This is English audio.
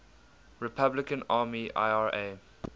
republican army ira